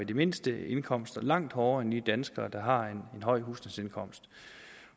de mindste indkomster langt hårdere end de danskere der har en høj husstandsindkomst